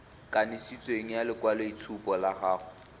kanisitsweng ya lekwaloitshupo la gago